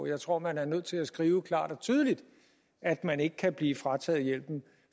jeg tror man er nødt til at skrive klart og tydeligt at man ikke kan blive frataget hjælpen